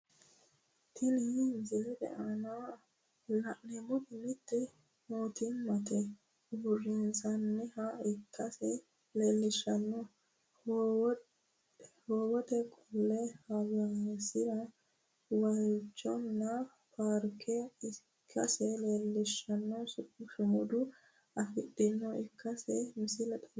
Tinni misilete aanna la'neemoti mite mootimmate uurinsha ikase leelishano howeeti qoleno hoowesera waalchoho paarke ikase leelishano sumudi afamanoha ikase misile xawissano.